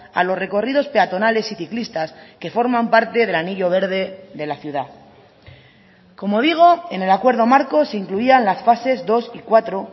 a los recorridos peatonales y ciclistas que forman parte del anillo verde de la ciudad como digo en el acuerdo marco se incluían las fases dos y cuatro